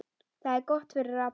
Það er gott fyrir alla.